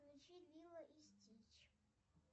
включи лило и стич